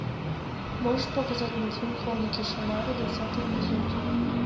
можешь показать мультфильм хроники шаннары двадцатый эпизод